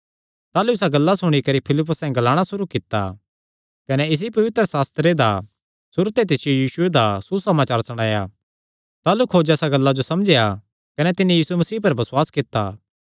ताह़लू इसा गल्ला सुणी करी फिलिप्पुसैं ग्लाणा सुरू कित्ता कने इसी पवित्रशास्त्रे दा सुरू ते तिसियो यीशुये दा सुसमाचार सणाया ताह़लू खोजा इसा गल्ला जो समझेया कने तिन्नी यीशु मसीह पर बसुआस कित्ता